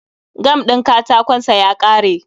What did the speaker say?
Gam din katakon sa ya kare